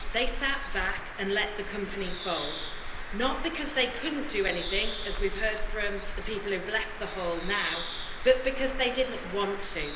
They sat back and let the company fold not because they couldn't do anything, as we've heard from the people who have left the Chamber now, but because they did not want to.